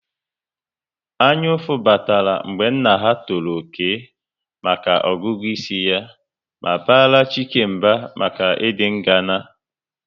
Anyaụfụ batara mgbe nna ha tọrọ Okey maka ọgụgụ isi ya ma bara Chike mba maka ịdị ngana